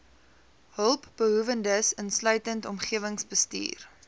hulpbehoewendes insluitend omgewingsbestuur